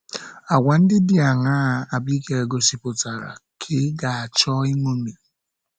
Àgwà ndị dị aṅaa Abigail gosipụtara ka ị ga - achọ iṅomi?